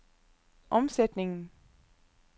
omsætningen